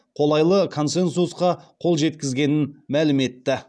қолайлы консенсусқа қол жеткізгенін мәлім етті